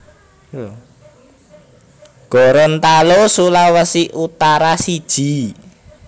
Gorontalo Sulawesi Utara siji